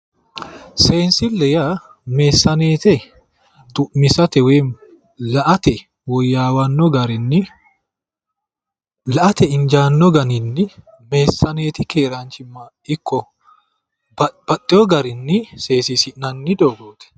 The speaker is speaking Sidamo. Seensille yaa meessaneete xu'misate woyi la'ate woyyaawanno garinni la'ate injaanno garinni meessaneete keeraanchimma ikko babbaxewo garinni seesiisi'nanni doogooti